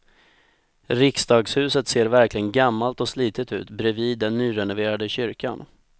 Riksdagshuset ser verkligen gammalt och slitet ut bredvid den nyrenoverade kyrkan.